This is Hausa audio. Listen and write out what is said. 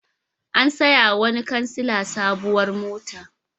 An sayawa wani kansila sabuwar mota.